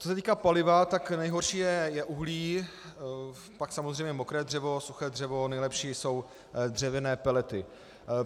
Co se týká paliva, tak nejhorší je uhlí, pak samozřejmě mokré dřevo, suché dřevo, nejlepší jsou dřevěné pelety.